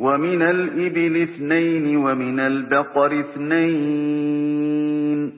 وَمِنَ الْإِبِلِ اثْنَيْنِ وَمِنَ الْبَقَرِ اثْنَيْنِ ۗ